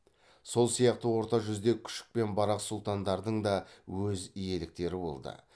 сол сияқты орта жүзде күшік пен барақ сұлтандардың да өз иеліктері болды